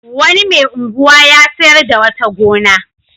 Wani mai unguwa ya sayar da wata gona.